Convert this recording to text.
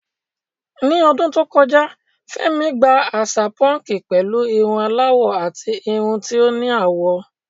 Ní ọdún tó kọjá, Fẹ́mi gba àṣà púnkì pẹ̀lú irun aláwọ̀ àti irun tí ó ní àwọ̀.